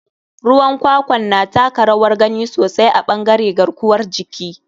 Ruwan kwakwan na taka rawar gani sosai a ɓangare garkuwar jiki.